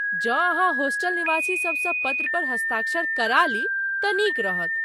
जँ अहाँ होस्टल निवासीसभसँ पत्र पर हस्ताक्षर करा ली तऽ नीक रहत।